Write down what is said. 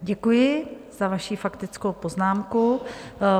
Děkuji za vaši faktickou poznámku.